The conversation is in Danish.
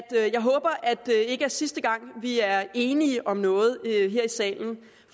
det ikke er sidste gang vi er enige om noget her i salen